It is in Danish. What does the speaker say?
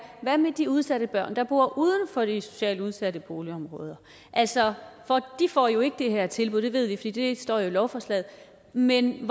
hvad med de udsatte børn der bor uden for de socialt udsatte boligområder altså de får jo ikke det her tilbud og det ved vi fordi det står i lovforslaget men